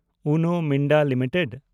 Uno Minda limited